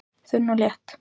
Þunn og létt